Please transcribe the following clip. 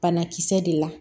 Banakisɛ de la